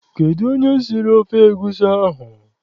Kedụ onye siri ofe egusi ahụ?